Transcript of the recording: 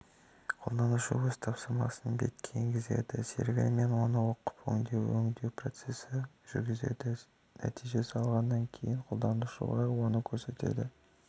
қолданушы өз тапсырмасын бетке енгізеді сервері оны оқып оны өңдеу процесін жүргізеді нәтижені алғаннан кейін қолданушыға оны көрсетеді